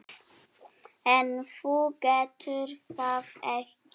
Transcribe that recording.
En þú getur það ekki.